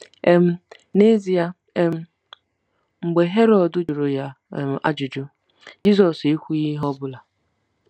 um N'ezie, um mgbe Herọd jụrụ ya um ajụjụ, Jizọs ekwughị ihe ọ bụla.